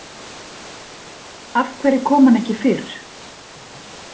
Af hverju kom hann ekki fyrr?